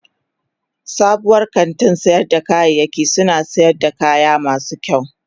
Sabuwar kantin sayar da kayayyaki suna sayar da kaya masu kyau.